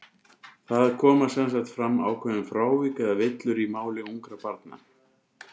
Það koma sem sagt fram ákveðin frávik, eða villur, í máli ungra barna.